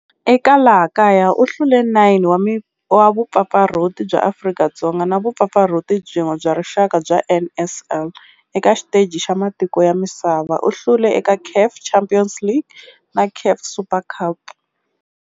Eka laha kaya u hlule 9 wa vumpfampfarhuti bya Afrika-Dzonga na vumpfampfarhuti byin'we bya rixaka bya NSL. Eka xiteji xa matiko ya misava, u hlule eka CAF Champions League na CAF Super Cup.